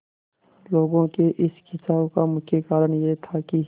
लोगों के इस खिंचाव का मुख्य कारण यह था कि